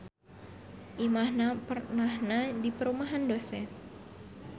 Imahna pernahna di perumahan dosen.